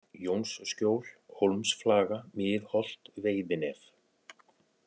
Jónsskjól, Hólmsflaga, Miðholt, Veiðinef